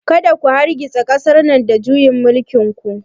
Kada ku hargitsa ƙasar nan da juyin mulkin ku!